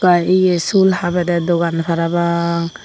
ar ye sul habede dogan parapang.